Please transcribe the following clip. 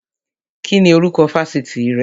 Kíni orúkọ Fásitì rẹ?